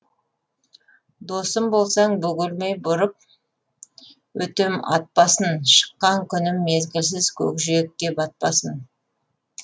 досым болсаң бөгелмей бұрып өтем ат басын шыққан күнім мезгілсіз көкжиекке батпасын